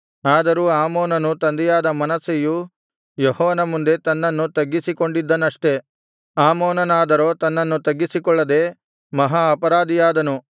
ಆದರೂ ಆಮೋನನ ತಂದೆಯಾದ ಮನಸ್ಸೆಯು ಯೆಹೋವನ ಮುಂದೆ ತನ್ನನ್ನು ತಗ್ಗಿಸಿಕೊಂಡಿದ್ದನಷ್ಠೆ ಅಮೋನನಾದರೋ ತನ್ನನ್ನು ತಗ್ಗಿಸಿಕೊಳ್ಳದೆ ಮಹಾ ಅಪರಾಧಿಯಾದನು